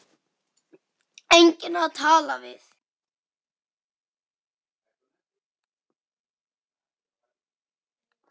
Enginn að tala við.